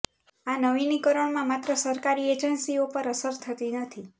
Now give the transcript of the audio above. આ નવીનીકરણમાં માત્ર સરકારી એજન્સીઓ પર અસર થતી નથી